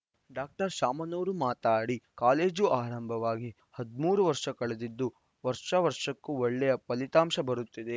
doctor Shamanur ಮಾತಾಡಿ college ಆರಂಭವಾಗಿ ಹದಿಮೂರು ವರ್ಷ ಕಳೆದಿದ್ದು ವರ್ಷ ವರ್ಷಕ್ಕೂ ಒಳ್ಳೆಯ ಫಲಿತಾಂಶ ಬರುತ್ತಿದೆ